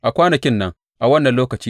A kwanakin nan, a wannan lokaci,